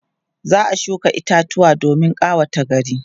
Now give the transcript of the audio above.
za'a shuka itatuwa domin ƙawata gari